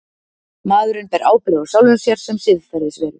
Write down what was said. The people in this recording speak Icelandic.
maðurinn ber ábyrgð á sjálfum sér sem siðferðisveru